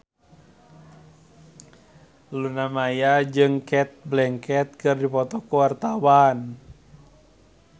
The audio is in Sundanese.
Luna Maya jeung Cate Blanchett keur dipoto ku wartawan